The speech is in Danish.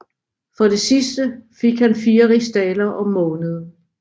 For det sidste fik han 4 rigsdalere om måneden